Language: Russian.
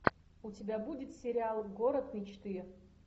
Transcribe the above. у тебя будет сериал город мечты